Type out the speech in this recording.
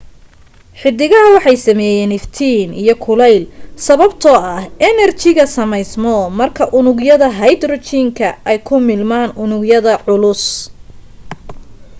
xidigaha waxa sameyaan iftiin iyo kuleel sababtoo ah enerjiga sameysmo marka unugyada hydrogen-ka ay ku milmaan unug yada culus